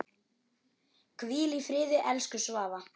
Hvíl í friði, elsku Svava.